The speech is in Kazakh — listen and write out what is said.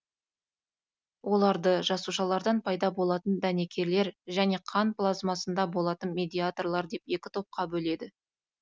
оларды жасушалардан пайда болатын дәнекерлер және қан плазмасында болатын медиаторлар деп екі топқа бөледі